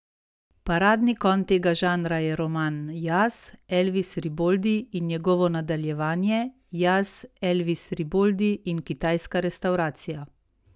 Paradni konj tega žanra je roman Jaz, Elvis Riboldi in njegovo nadaljevanje Jaz, Elvis Riboldi in kitajska restavracija.